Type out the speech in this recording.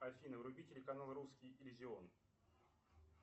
афина вруби телеканал русский иллюзион